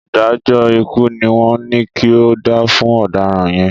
Ìdájọ́ ikú ni wọ́n ní kí o dá fún ọ̀daràn yẹn.